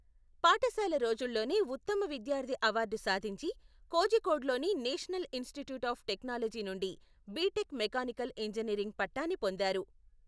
పాఠశాల రోజుల్లోనే ఉత్తమ విద్యార్థి అవార్డు సాధించి, కోజికోడ్లోని నేషనల్ ఇన్స్టిట్యూట్ ఆఫ్ టెక్నాలజీ నుండి బిటెక్ మెకానికల్ ఇంజనీరింగ్ పట్టాని పొందారు.